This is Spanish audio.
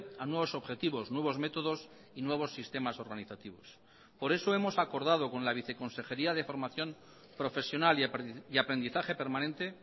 a nuevos objetivos nuevos métodos y nuevos sistemas organizativos por eso hemos acordado con la viceconsejería de formación profesional y aprendizaje permanente